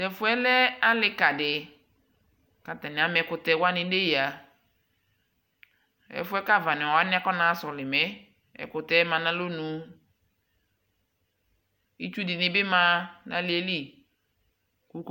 tɛƒʋɛ lɛ alikali kʋ atani ama ɛkʋtɛ wani nʋ ɛya, ɛƒʋɛ kʋ aɣani wani aƒɔna ha sɔlimɛ, ɛkʋtɛ manʋ alɔnʋ, itsʋ dini bi ma nʋ aliɛli